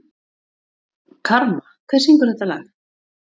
Karma, hver syngur þetta lag?